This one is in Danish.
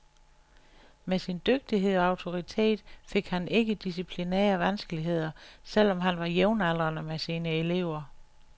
Med sin dygtighed og autoritet, fik han ikke disciplinære vanskeligheder, selv om han var jævnaldrende med sine elever.